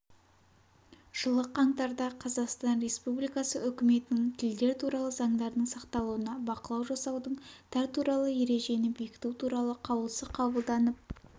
жылы қаңтарда қазақстан республикасы үкіметінің тілдер туралы заңдардың сақталуына бақылау жасаудың тәр туралы ережені бекіту туралы қаулысы қабылданып